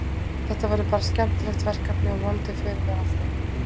Þetta verður bara skemmtilegt verkefni og vonandi förum við áfram.